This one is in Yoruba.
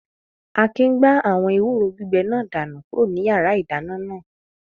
Akin gbá àwọn ewúro gbígbẹ náà dànù kúrò ní yàrá-ìdáná náà